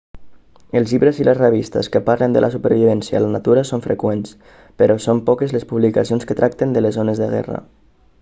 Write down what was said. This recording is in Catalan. els llibres i les revistes que parlen de la supervivència a la natura són freqüents però són poques les publicacions que tracten les zones de guerra